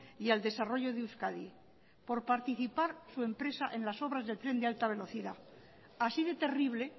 y al desarrollo de euskadi por participar su empresa en las obras del tren de alta velocidad así de terrible